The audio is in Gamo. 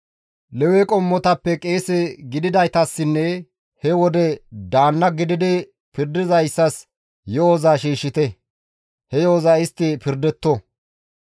Lewe qommotappe qeese gididaytassinne he wode daanna gididi pirdizayssas yo7oza shiishshite; he yo7oza istti pirdetto.